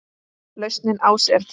Lausnin ás er til.